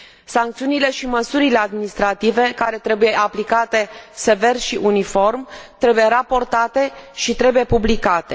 Sancțiunile și măsurile administrative, care trebuie aplicate sever și uniform, trebuie raportate și trebuie publicate.